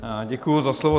Děkuji za slovo.